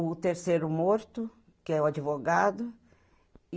O terceiro morto, que é o advogado.